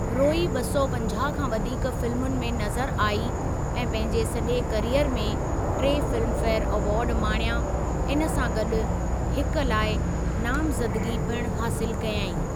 रोई ॿ सौ पंजाहु खां वधीक फिल्मुनि में नज़र आई ऐं पंहिंजे सॼे कैरीयर में टे फिल्म फेयर अवार्ड माणिया इन सां गॾु हिकु लाइ नामज़दगी पिणु हासिलु कयईं।